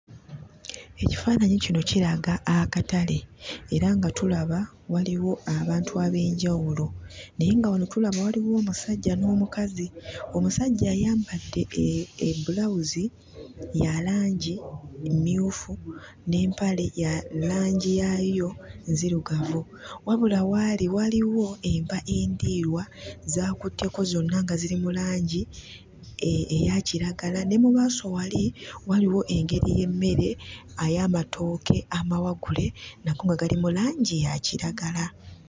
Ekifaananyi kino kiraga akatale era nga tulaba waliwo abantu ab'enjawulo. Naye nga wano tulaba waliwo omusajja n'omukazi. Omusajja ayambadde ebbulawuzi ya langi emmyufu n'empale ya langi yaayo nzirugavu. Wabula w'ali waliwo enva endiirwa z'akutteko zonna nga ziri mu langi eya kiragala. Ne mu maaso wali waliwo engeri y'emmere ey'amatooke amawagule, nago nga gali mu langi ya kiragala.